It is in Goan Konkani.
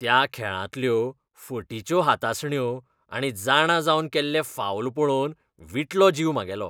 त्या खेळांतल्यो फटिच्यो हातासण्यो आनी जाणा जावन केल्ले फाऊल पळोवन विटलो जीव म्हागेलो.